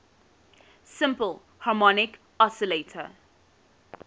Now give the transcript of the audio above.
simple harmonic oscillator